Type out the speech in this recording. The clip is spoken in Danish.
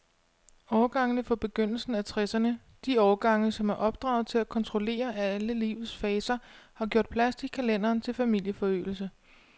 Årgangene fra begyndelsen af tresserne, de årgange, som er opdraget til at kontrollere alle livets faser, har gjort plads i kalenderen til familieforøgelse.